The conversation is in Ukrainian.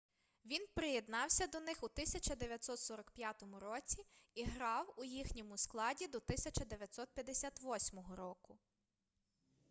він приєднався до них у 1945 році і грав у їхньому складі до 1958 року